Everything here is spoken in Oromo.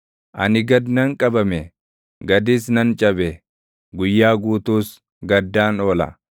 Ani gad nan qabame; gadis nan cabe; guyyaa guutuus gaddaan oola.